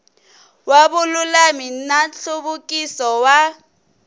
wa vululami na nhluvukiso wa